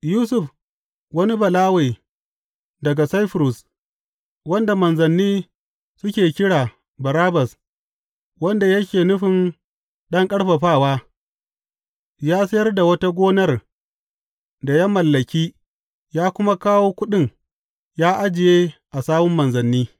Yusuf, wani Balawe daga Saifurus, wanda manzanni suke kira Barnabas wanda yake nufin Ɗan Ƙarfafawa ya sayar da wata gonar da ya mallaki ya kuma kawo kuɗin ya ajiye a sawun manzanni.